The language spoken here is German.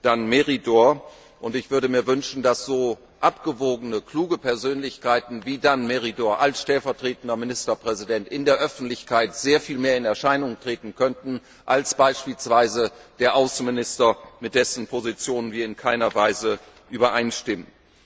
Dan Meridor. Ich würde mir wünschen, dass so besonnene, kluge Persönlichkeiten wie Dan Meridor als stellvertretender Ministerpräsident in der Öffentlichkeit sehr viel mehr in Erscheinung treten könnten als beispielsweise der Außenminister, mit dessen Positionen wir in keiner Weise übereinstimmen.